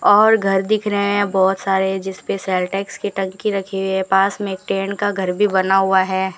और घर दिख रहे हैं बहुत सारे जिस पे सेल टैक्स की टंकी रखे हुई है पास में एक टैंट का घर भी बना हुआ है।